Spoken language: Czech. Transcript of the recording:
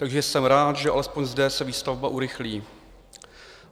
Takže jsem rád, že alespoň zde se výstavba urychlí.